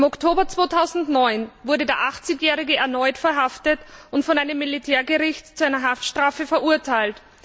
Im Oktober 2009 wurde der Achtzigjährige erneut verhaftet und von einem Militärgericht zu einer Haftstrafe verurteilt.